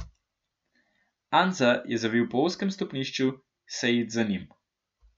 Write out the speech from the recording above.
Anza je zavil po ozkem stopnišču, Sejid za njim.